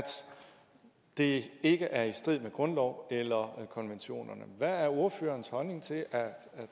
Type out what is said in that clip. det ikke er i strid med grundloven eller konventionerne hvad er ordførerens holdning til at